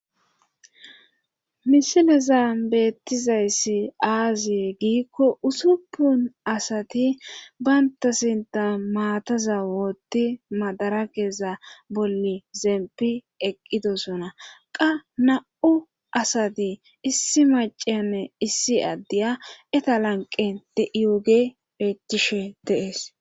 Misilezan beettizayssi aaziye giikko usuppun asati baynta sinta maataza wootti madara keeza bolli zempi eqqidosona qa na7u asati issi maceme issi addeya eta lanqen de7iyoge peechishe deees